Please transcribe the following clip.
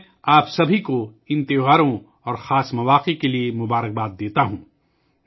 میں آپ سب سے ان تہواروں اور خاص مواقع کے لئے نیک خواہشات کا اظہار کرتا ہوں